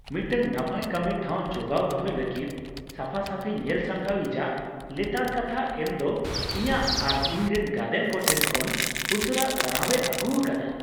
ᱢᱤᱫᱴᱟᱝ ᱱᱟᱯᱟᱭ ᱠᱟᱹᱢᱤ ᱴᱷᱟᱶ ᱡᱜᱟᱣᱚ ᱫᱚᱦᱚᱭ ᱞᱟᱹᱜᱤᱫ ᱥᱟᱯᱷᱟᱼᱥᱟᱹᱯᱷᱤ ᱧᱮᱞ ᱥᱟᱢᱴᱟᱣᱤᱡᱟᱜ ᱞᱮᱛᱟᱲ ᱠᱟᱛᱷᱟ ᱮᱢ ᱫᱚ ᱤᱧᱟᱹᱜ ᱟᱨ ᱤᱧ ᱨᱮᱱ ᱜᱟᱫᱮᱞ ᱠᱚᱴᱷᱮᱱ ᱠᱷᱚᱱ ᱩᱥᱟᱹᱨᱟ ᱥᱟᱨᱦᱟᱣᱮ ᱟᱹᱜᱩ ᱟᱠᱟᱫᱟ ᱾